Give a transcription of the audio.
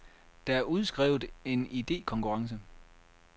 Der er udskrevet en idekonkurrence.